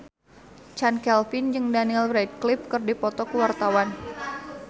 Chand Kelvin jeung Daniel Radcliffe keur dipoto ku wartawan